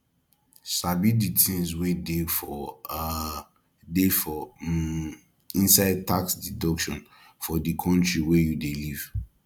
sabi the things wey dey for um dey for um inside tax deduction for di country wey you dey live